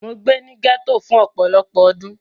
Mo gbé ní gẹ́tò fún ọpọlọ́pọ́ ọdún.